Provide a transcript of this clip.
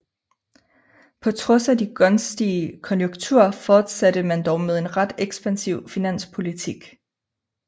På trods af de gunstige konjunkturer fortsatte man dog med en ret ekspansiv finanspolitik